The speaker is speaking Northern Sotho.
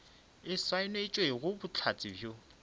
e saenetšwego ke bohlatse bjo